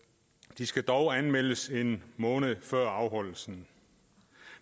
de skal dog anmeldes en måned før afholdelsen